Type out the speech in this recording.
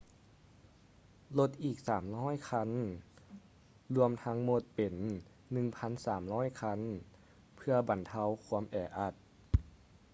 ລົດອີກ 300 ຄັນ ລວມທັງໝົດເປັນ 1,300 ຄັນ ເພື່ອບັນເທົາຄວາມແອອັດ